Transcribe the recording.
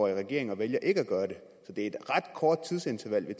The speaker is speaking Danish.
i regering og vælger ikke at gøre det det er et ret kort tidsinterval vi